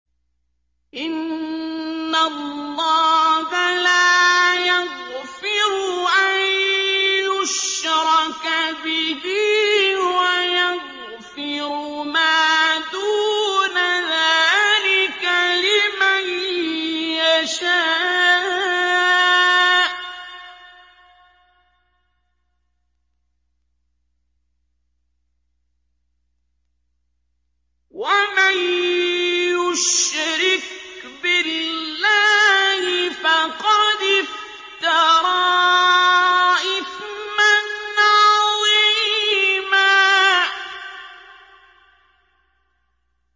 إِنَّ اللَّهَ لَا يَغْفِرُ أَن يُشْرَكَ بِهِ وَيَغْفِرُ مَا دُونَ ذَٰلِكَ لِمَن يَشَاءُ ۚ وَمَن يُشْرِكْ بِاللَّهِ فَقَدِ افْتَرَىٰ إِثْمًا عَظِيمًا